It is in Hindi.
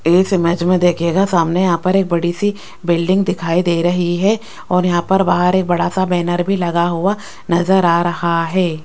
इस इमेज में देखिएगा सामने यहां पर एक बड़ी सी बिल्डिंग दिखाई दे रही है और यहां पर बाहर एक बड़ा सा बैनर भी लगा हुआ नजर आ रहा है।